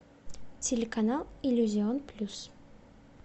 телеканал иллюзион плюс